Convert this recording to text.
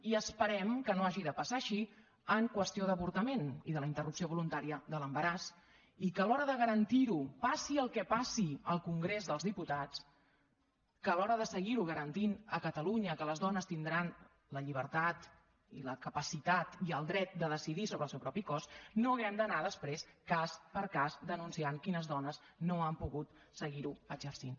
i esperem que no hagi de passar així en qüestió d’avortament i de la interrupció voluntària de l’embaràs i que a l’hora de garantir ho passi el que passi al congrés dels diputats que a l’hora de seguir ho garantint a catalunya que les dones tindran la llibertat i la capacitat i el dret de decidir sobre el seu propi cos no hàgim d’anar després cas per cas denunciant quines dones no han pogut seguir ho exercint